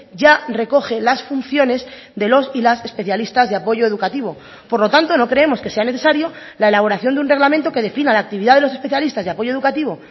ya recoge las funciones de los y las especialistas de apoyo educativo por lo tanto no creemos que sea necesario la elaboración de un reglamento que defina la actividad de los especialistas de apoyo educativo